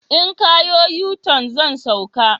In ka yo yuton, zan sauka